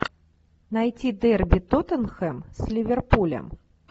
найти дерби тоттенхэм с ливерпулем